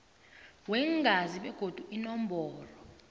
weengazi begodu inomboro